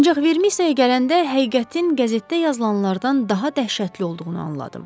Ancaq Vermisiya gələndə həqiqətin qəzetdə yazılanlardan daha dəhşətli olduğunu anladım.